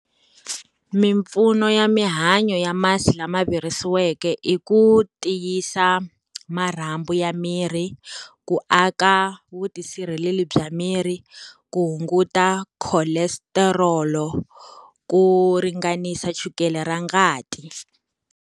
Mimpfuno ya mihanyo ya masi lama virisiweke i ku tiyisa marhambu ya miri, ku aka vutisa sirheleli bya miri, ku hunguta kholestarolo, ku ringanisa chukele ra ngati.